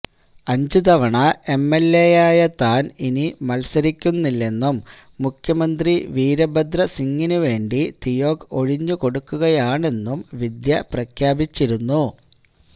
അഞ്ച് തവണ എംഎൽഎയായ താൻ ഇനി മത്സരിക്കുന്നില്ലെന്നും മുഖ്യമന്ത്രി വീരഭദ്രസിങ്ങിനുവേണ്ടി തിയോഗ് ഒഴിഞ്ഞുകൊടുക്കുകയാണെന്നും വിദ്യ പ്രഖ്യാപിച്ചിരുന്നു